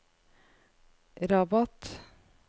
Rabat